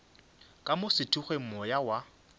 ka mo sethokgweng moya wa